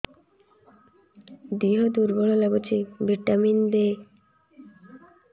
ଦିହ ଦୁର୍ବଳ ଲାଗୁଛି ଭିଟାମିନ ଦେ